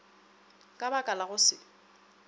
ka baka la go se